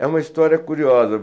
É uma história curiosa.